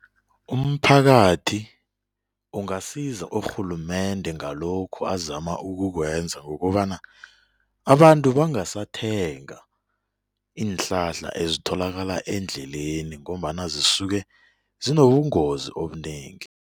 Umphakathi ungasiza urhulumende ngalokhu azama ukukwenza ngokobana abantu bangasathenga iinhlahla ezitholakala eendleleni ngombana zisuke zinobungozi obunengi.